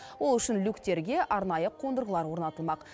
ол үшін люктерге арнайы қондырғылар орнатылмақ